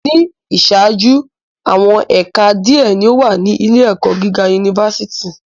Ni iṣaaju, awọn ẹka diẹ ni o wa ni ile-ẹkọ giga unifásitì